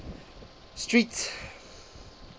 street